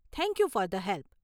Thank you for the help.